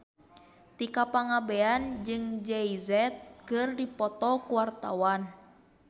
Tika Pangabean jeung Jay Z keur dipoto ku wartawan